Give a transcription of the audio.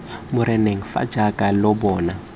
moreneng fa jaaka lo bona